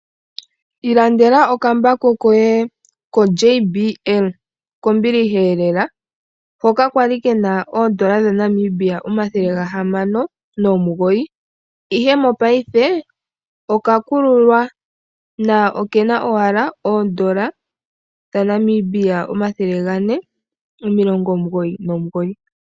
Ilandela okambako koye koJBL, kombiliha lela, hoka kali kena ondola dha Namibia omathele gahamano nomugoyi, ihe mopaife ondando oya kuluka, na okena owala oondola dhaNamibia omathele gane omilongo omugoyi nomugoyi.